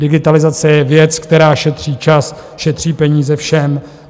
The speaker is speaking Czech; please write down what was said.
Digitalizace je věc, která šetří čas, šetří peníze, všem.